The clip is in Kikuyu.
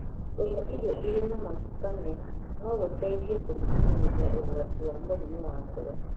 Kũrĩa irio irĩ na maguta mega no gũteithie kũnyihanyihia ũgwati wa mũrimũ wa ngoro.